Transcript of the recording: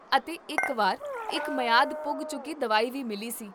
ਅਤੇ ਇੱਕ ਵਾਰ ਇੱਕ ਮਿਆਦ ਪੁੱਗ ਚੁੱਕੀ ਦਵਾਈ ਵੀ ਮਿਲੀ ਸੀ